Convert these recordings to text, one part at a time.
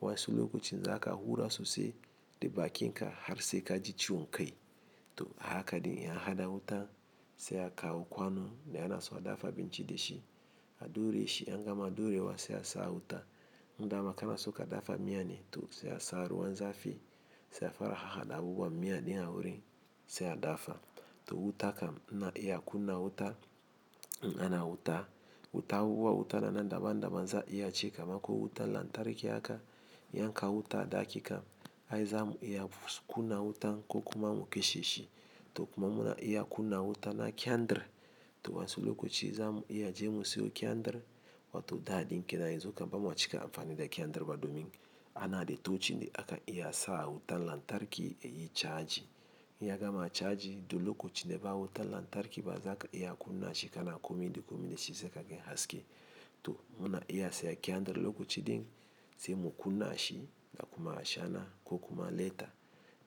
Wansi lokaci za ka hura sosai da baki ka har sai ka ji ciwon kai. To a haka ɗin ya hada wuta sai akawo kwano da yana so a dafa abinci da shi. A ɗureshi in angama ɗurewa sai asa a wutan in dama kana so ka dafa miya ne to sai a sa ruwan zafi sai a fara hahaɗa abubuwan miya ɗin a wurin sai a dafa. To wuta kam na iya kunna wuta, na hana wuta. Wuta hauwa wuta na nan daban daban za iya ci kama ko wuta lantarki haka, iya kai wuta da hakika. Ai za mu iya kunna wuta ko kuma mu kashe shi. Kokuma muna iya kunna wuta na kyandir. To wa'insu lokaci za mu iya je mu siyo kyandir. Wato da ɗin kenan yanzu kaman ba'a c ka amfani da kyandir ba domin ana da tocin da aka iya sa wutan lantarki ya yi chaji. In yagama chaji duk lokacin da ba wutar lantarki ma zaka iya kunna shi kana komi da komi dashi don kaga haske to muna iya sa kyandir lokaci ɗin sai mu kunna shi da kuma ashana ko kuma leta.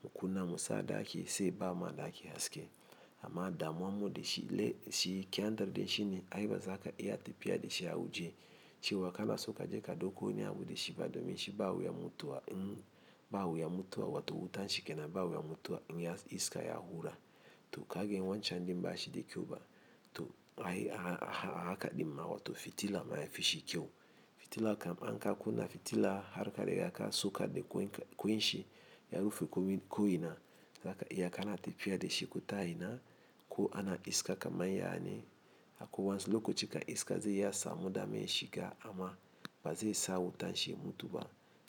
Mu kunna mu sa ɗaki sai ba ma ɗaki haske. Amma damuwa mu da shi le shi kyandir ɗin shi ne ai ba za ka iya tafiya da shi a waje. Cewa kana so kaje ka ɗauko wani abu da shi ba domin shi ba wuya mutuwa in ba wuya mutu a wato wutan shi kenan ba wuya mutu a in ya iska ya hura. To ka ganshi wancan din ba shi da kyau ba. To ai a haka ɗin ma w to fitila ma ya yi fashi kyau. Fitila kam an ka kunna fitila har ka riga ka so ka de koin shi, ya rufe komin ko ina zaka iya kana tafiya da shi ko ta ina ko ana iska kamar yayane. Akwai wa'insu lokaci kam iska zai iya samu damar shiga amma ba zai sa wutan shi ya mutu ba.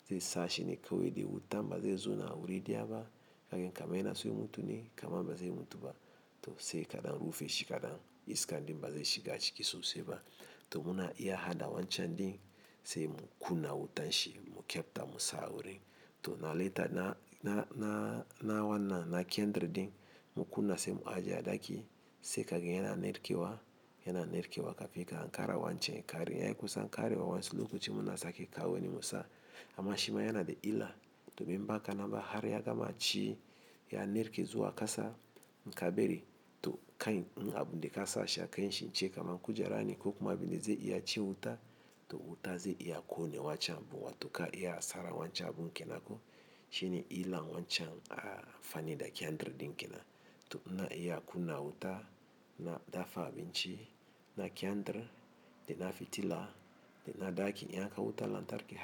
Zai sa shi ne kawai da wuta ba zai zo na wuri ɗaya ba. Ka gan kaman yana so ya mutu ne, kaman ba zai mutu ba. To sai ka ɗan rufe shi kaɗan iska ɗin ba zai shiga ciki sosai ba. To muna iya haɗa wancan ɗin sai mu kunna wutan shi mu kyabta mu sa wurin. To na leta na na na na wannan na kyandir din mu kunna sai mu ajiye ɗaki sai ka gan yana narkewa, yana narkewa kafi ka an kara wancan ya kare. Ya kusan karewa wa'insu lokaci muna sake kawo wani mu sa. Amma shima yana da illa domin baka na ba har ya gama ci, ya narke zuwa ƙasa in ka bari to kai abun da ka sashi a kai shi ce kamar kujera ne ko kuma abin da zai iya ci wuta. To wuta zai iya ƙone wancan wato kayi asara wancan abun kenan ko. Shi ne illan wancan a amfani da kyandir ɗin kenan. To ina kunna wuta, na dafa abinci, na kyandir, da na fitila, da na ɗaki in akwai wutan lantarki.